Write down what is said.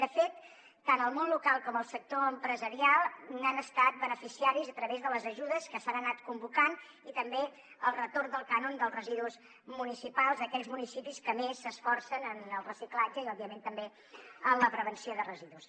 de fet tant el món local com el sector empresarial n’han estat beneficiaris a través de les ajudes que s’han anat convocant i també del retorn del cànon dels residus municipals a aquells municipis que més s’esforcen en el reciclatge i òbviament també en la prevenció de residus